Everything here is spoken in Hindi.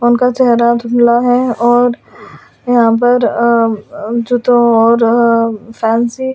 उनका चेहरा धुमला है और यहां पर जूतों और फैंसी --